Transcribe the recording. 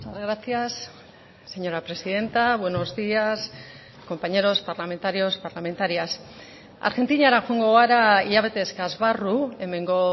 gracias señora presidenta buenos días compañeros parlamentarios parlamentarias argentinara joango gara hilabete eskas barru hemengo